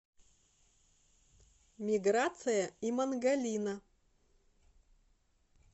миграция имангалина